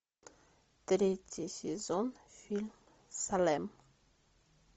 третий сезон фильм салем